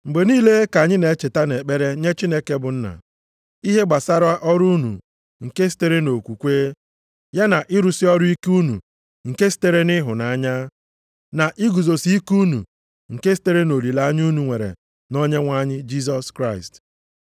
Mgbe niile ka anyị na-echeta nʼekpere nye Chineke bụ Nna, ihe gbasara ọrụ unu nke sitere nʼokwukwe, ya na ịrụsị ọrụ ike unu nke sitere nʼịhụnanya, na iguzosi ike unu nke sitere nʼolileanya unu nwere nʼOnyenwe anyị Jisọs Kraịst.